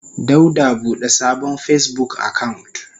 Dauda bude sabon Facebook account.